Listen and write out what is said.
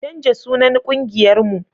canja sunan ƙungiyar mu